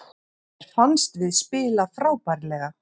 Mér fannst við spila frábærlega